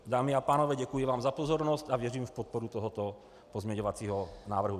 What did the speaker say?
Dámy a pánové, děkuji vám za pozornost a věřím v podporu tohoto pozměňovacího návrhu.